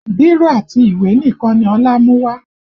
Bírò àti ìwé nìkan ni Ọlá mú wá